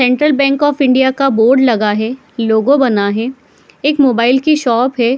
Central bank of India का board लगा हुआ है लोगों बना हुआ है एक मोबाइल के शॉप हैं।